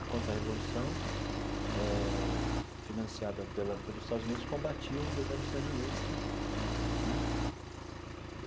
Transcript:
A contra-revolução, eh financiada pela pelos Estados Unidos, combatia o governo sandinista né.